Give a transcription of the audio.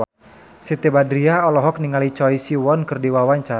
Siti Badriah olohok ningali Choi Siwon keur diwawancara